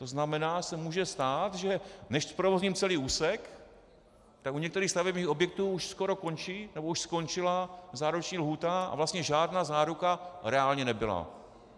To znamená, že se může stát, že než zprovozním celý úsek, tak u některých stavebních objektů už skoro končí, nebo už skončila záruční lhůta a vlastně žádná záruka reálně nebyla.